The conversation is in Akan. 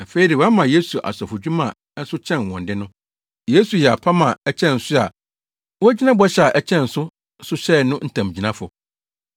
Afei de, wɔama Yesu asɔfodwuma a ɛso kyɛn wɔn de no. Yesu yɛ apam a ɛkyɛn so a wogyina bɔhyɛ a ɛkyɛn so so hyɛe no ntamgyinafo.